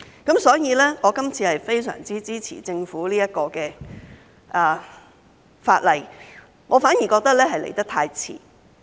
因此，我今次非常支持政府這項法例，我反而覺得來得太遲。